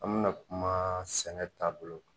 An bɛ na kumaaa sɛnɛ taabolo